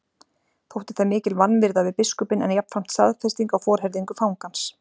Þótti það mikil vanvirða við biskupinn en jafnframt staðfesting á forherðingu fangans.